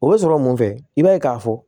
O bɛ sɔrɔ mun fɛ i b'a ye k'a fɔ